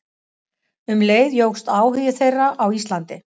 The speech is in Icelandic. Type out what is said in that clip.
Um leið jókst áhugi þeirra á Íslandi.